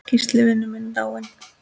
Gísli vinur minn er dáinn.